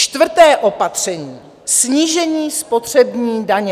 Čtvrté opatření - snížení spotřební daně.